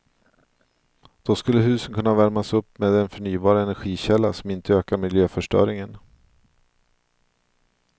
Då skulle husen kunna värmas upp med en förnybar energikälla, som inte ökar miljöförstöringen.